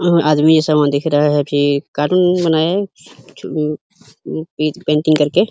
आदमी यह समान दिख रहा हैं। फिर कार्टून बनाया पे पेंटिंग करके --